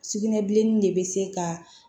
Sugunɛbilenni de bɛ se ka